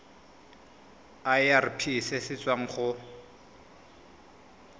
irp se se tswang go